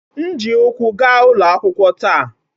M ji ụkwụ gaa ụlọ akwụkwọ taa.